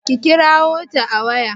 kirawo ta a waya!